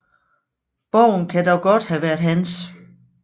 Borgen kan dog godt have været hans